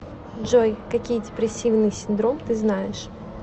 джой какие депрессивный синдром ты знаешь